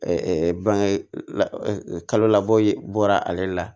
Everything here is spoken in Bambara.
bange kalo labɔ ye bɔla ale la